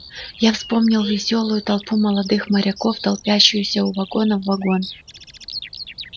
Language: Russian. я вспомнил весёлую толпу молодых моряков толпящуюся у вагона в вагон